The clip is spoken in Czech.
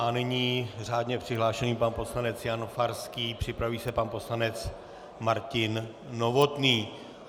A nyní řádně přihlášený pan poslanec Jan Farský, připraví se pan poslanec Martin Novotný.